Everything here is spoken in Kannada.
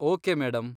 Okay, madam.